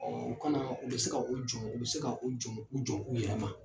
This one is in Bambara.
Ɔɔ U ka na, u be se ka u jɔ u be se ka u jɔ u jɔ u yɛrɛ ma.